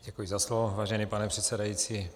Děkuji za slovo, vážený pane předsedající.